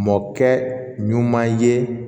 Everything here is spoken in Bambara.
Mɔkɛ ɲuman ye